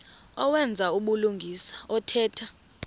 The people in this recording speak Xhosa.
owenza ubulungisa othetha